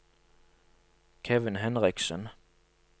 Kevin Henriksen